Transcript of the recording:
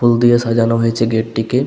ফুল দিয়ে সাজানো হয়েছে গেট টিকে।